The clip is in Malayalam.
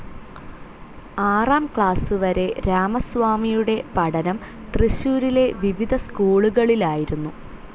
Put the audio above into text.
ആറാം ക്ലാസ്‌ വരെ രാമസ്വാമിയുടെ പഠനം തൃശ്ശൂരിലെ വിവിധ സ്‌കൂളുകളിലായിരുന്നു.